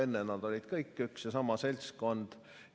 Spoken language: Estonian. Enne olid nad kõik üks ja sama seltskond.